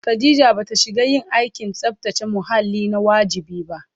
Khadija ba ta shiga yin aikin tsabtace muhalli na wajibi ba